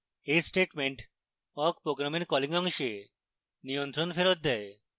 awk statement awk program calling অংশে নিয়ন্ত্রণ ফেরৎ দেয়